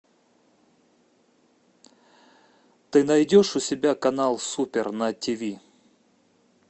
ты найдешь у себя канал супер на тв